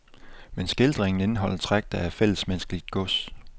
Men skildringen indeholder træk, der er fællesmenneskeligt gods.